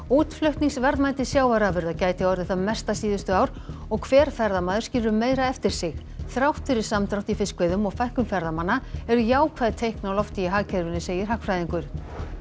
útflutningsverðmæti sjávarafurða gæti orðið það mesta síðustu ár og hver ferðamaður skilur meira eftir sig þrátt fyrir samdrátt í fiskveiðum og fækkun ferðamanna eru jákvæð teikn á lofti í hagkerfinu segir hagfræðingur